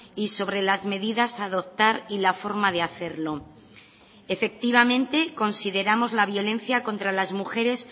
y sobre las medidas a adoptar y la forma de hacerlo efectivamente consideramos la violencia contra las mujeres